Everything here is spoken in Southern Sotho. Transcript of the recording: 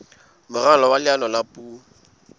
moralo wa leano la puo